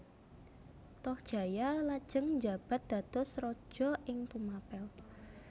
Tohjaya lajeng njabat dados raja ing Tumapel